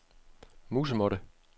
musemåtte